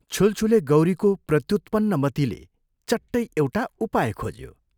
छुलछुले गौरीको प्रत्युत्पन्नमतिले चट्टै एउटा उपाय खोज्यो।